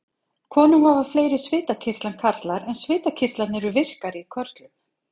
Konur hafa fleiri svitakirtla en karlar en svitakirtlar eru virkari í körlum.